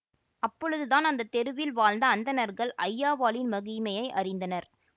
அப்பொழுது தான் அந்த தெருவில் வாழ்ந்த அந்தணர்கள் ஐயாவாளின் மகிமையை அறிந்தனர்